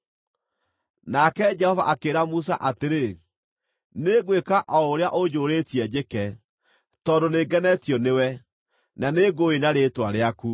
Nake Jehova akĩĩra Musa atĩrĩ, “Nĩngwĩka o ũrĩa ũnjũũrĩtie njĩke, tondũ nĩngenetio nĩwe, na nĩngũũĩ na rĩĩtwa rĩaku.”